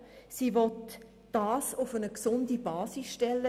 Sie will es auf eine gesunde Basis stellen.